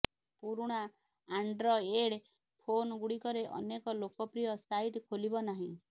ପୁରୁଣା Android phone ଗୁଡିକରେ ଅନେକ ଲୋକପ୍ରିୟ ସାଇଟ ଖୋଲିବ ନାହିଁ